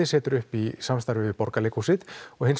setur upp í samstarfi við Borgarleikhúsið og hins